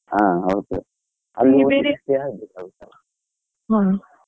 ಹ ಹೌದು. ಹ.